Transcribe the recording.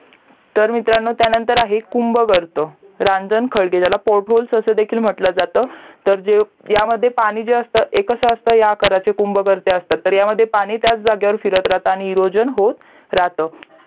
तर मित्रांनो त्यानंतर आहे कुंभ घरट रांजन खळगे ज्याला PORT HOLES असा देखील म्हंटलं जाता तर ह्यामध्ये पाणी जे असत ते कुंभ घरटे असतात तर ह्यामध्ये पाणी त्याच जागेवर फिरत राहतं आणि इरोजन होत राहतं